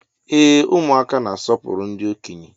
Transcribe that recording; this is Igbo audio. Ee ụmụaka na-asọpụrụ ndị okenye.